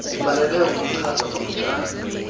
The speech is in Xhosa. zifanelwe ukuchazwa kafutshane